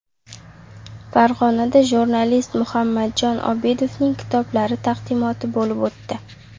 Farg‘onada jurnalist Muhammadjon Obidovning kitoblari taqdimoti bo‘lib o‘tdi.